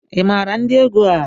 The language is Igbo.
Ị maara ndị egwu a?